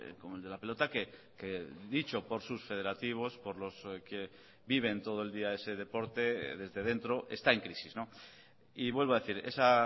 como el de la pelota que dicho por sus federativos por los que viven todo el día ese deporte desde dentro está en crisis y vuelvo a decir esa